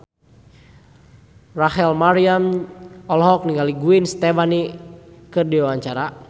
Rachel Maryam olohok ningali Gwen Stefani keur diwawancara